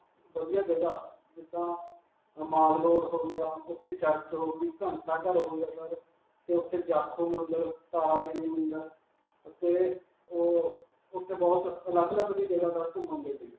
ਵਧੀਆ ਜਗ੍ਹਾ, ਜਿੱਦਾਂ ਅਅ mall road ਹੋ ਗਿਆ, ਉਥੇ church ਹੋ ਗਈ, ਘੰਟਾ-ਘਰ ਹੋ ਗਿਆ sir, ਤੇ ਉਥੇ ਜਾਖੋ ਮੰਦਰ, ਤਾਰਾ ਦੇਵੀ ਮੰਦਰ ਅਤੇ ਉਹ, ਉਥੇ ਬਹੁਤ ਅਲਗ-ਅਲਗ ਘੁਮੰਣ ਦੇ ਲਈ.